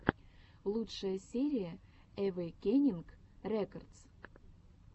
лучшая серия эвейкенинг рекордс